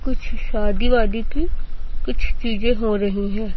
कुछ शादी वादी की कुछ चीजे हो रही है।